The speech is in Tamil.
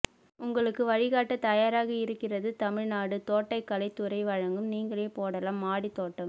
உங்களுக்கு வழிகாட்ட தயாராக இருக்கிறதுதமிழ் நாடு தோட்டக்கலைத் துறை வழங்கும் நீங்களே போடலாம் மாடித் தோட்டம்